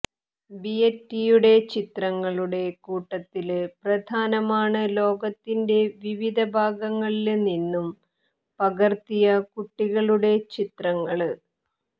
ബിയറ്റിയുടെ ചിത്രങ്ങളുടെ കൂട്ടത്തില് പ്രധാനമാണ് ലോകത്തിന്റെ വിവിധ ഭാഗങ്ങളില് നിന്നും പകര്ത്തിയ കുട്ടികളുടെ ചിത്രങ്ങള്